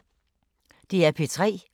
DR P3